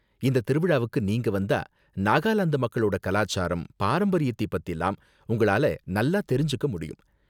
இந்த திருவிழாவுக்கு நீங்க வந்தா நாகாலாந்து மக்களோட கலாச்சாரம், பாரம்பரியத்தை பத்திலாம் உங்களால நல்லா தெரிஞ்சுக்க முடியும்.